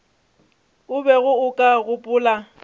o bego o ka gopola